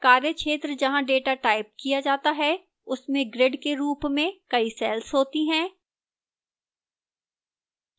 कार्य क्षेत्र जहां data टाइप किया data है उसमें grid के रूप में कई cells होती हैं